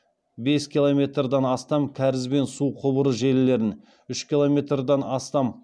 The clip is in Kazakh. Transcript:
бес километрдан астам кәріз бен су құбыры желілерін үш километрдан астам